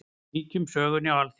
Víkjum sögunni á Alþingi.